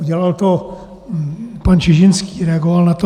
Udělal to pan Čižinský, reagoval na to.